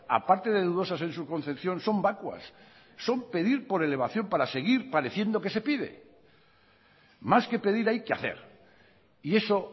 aparte de dudosas en su concepción son vacuas son pedir por elevación para seguir pareciendo que se pide más que pedir hay que hacer y eso